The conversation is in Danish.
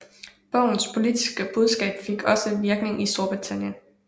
Bogens politiske budskab fik også virkning i Storbritannien